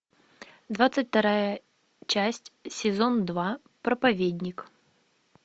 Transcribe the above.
двадцать вторая часть сезон два проповедник